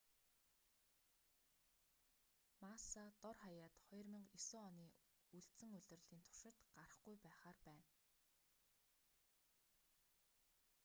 масса дор хаяад 2009 оны үлдсэн улирлын туршид гарахгүй байхаар байна